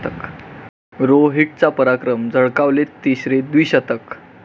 रो'हीट'चा पराक्रम, झळकावले तिसरे द्विशतक